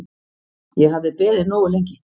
Ég hafði beðið nógu lengi.